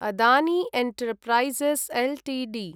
Adani enterprises Ltd